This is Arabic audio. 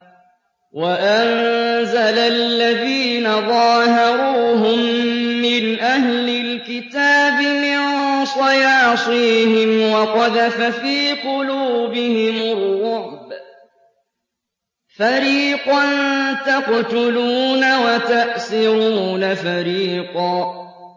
وَأَنزَلَ الَّذِينَ ظَاهَرُوهُم مِّنْ أَهْلِ الْكِتَابِ مِن صَيَاصِيهِمْ وَقَذَفَ فِي قُلُوبِهِمُ الرُّعْبَ فَرِيقًا تَقْتُلُونَ وَتَأْسِرُونَ فَرِيقًا